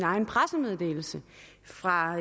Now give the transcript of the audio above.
egen pressemeddelelse fra